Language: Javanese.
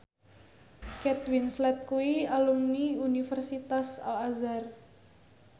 Kate Winslet kuwi alumni Universitas Al Azhar